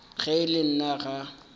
ge e le nna ga